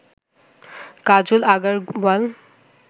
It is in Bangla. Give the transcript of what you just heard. কাজল আগারওয়াল